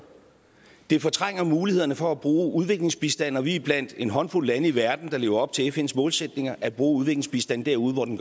det fortrænger mulighederne for at bruge udviklingsbistand og vi er blandt en håndfuld lande i verden der lever op til fns målsætninger at bruge udviklingsbistanden derude hvor den